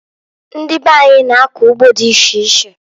Ndị be anyị na-akọ ugbo dị iche iche.